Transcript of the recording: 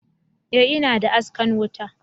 e ina da askan wuta